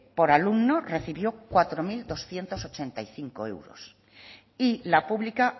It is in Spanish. por alumno recibió cuatro mil doscientos ochenta y cinco euros y la pública